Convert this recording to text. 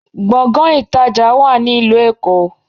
Gbọ̀ngán ìtajà wá ní ìlú Èkó